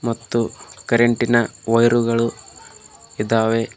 ಮತ್ತು ಕರೆಂಟಿ ನ ವಯರ್ ಗಳು ಇದಾವೆ.